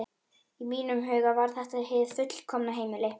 Í mínum huga var þetta hið fullkomna heimili.